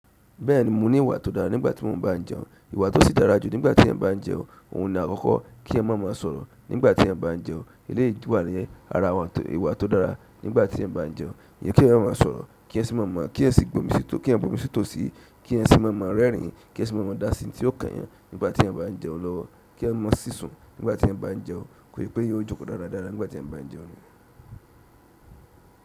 Bẹ́ẹ̀ni mo ní ìwà tó dára nígbà tí mo ń bá jẹun. Ìwà tó sì dára jù nígbà tí èyan bá n jẹun. Òun ni àkọ́kọ́ kí ẹyan má má sọ̀rọ̀ nígbà tí ẹyan bá n jẹun. Eléyì wà ni ara àwọn, ìwà tó dára nígbà tí ẹyan bá n jẹun. Ìyẹn kí ẹyan má má sọ̀rọ̀, kí ẹyan sì má má, kí ẹyan sì bomi sí tò, kí ẹyan bomi sí tò síi, kí ẹyan sì má má rẹ́rìn-ín, kí ẹyan sì má má dá sí ohùn tí ó kányàn nígbà tí ẹyan bá jẹun lọ́wọ́, kí ẹyan mọ sísun nígbà tí ẹyan bá jẹun. Wípé èyán ọ joko dáradára nigbati èyán ba n jẹun.